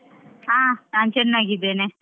ಹಾ ನಾನು ಚೆನ್ನಾಗಿದ್ದೇನೆ.